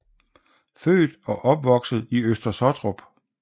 Født og opvokset i Øster Sottrup